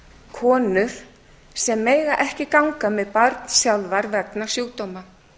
konur sem mega ekki ganga með barn sjálfar vegna sjúkdóma